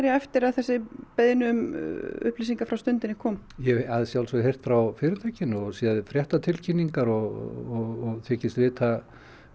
eftir að þessi beiðni um upplýsingar frá Stundinni kom ég hef að sjálfsögðu heyrt frá fyrirtækinu og séð fréttatilkynningar og þykist vita